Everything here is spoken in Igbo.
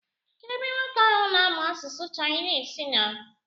Kedụ ebe nwoke ahụ na-amụ asụsụ Chinese nọ?